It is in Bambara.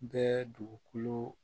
Bɛɛ dugukolo